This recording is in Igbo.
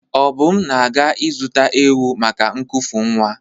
Obum na-aga ịzụta ewu maka nkufu nwa.